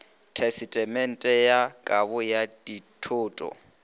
tesetamente ya kabo ya dithoto